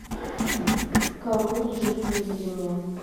король жив выведи мне